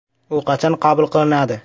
U qachon qabul qilinadi?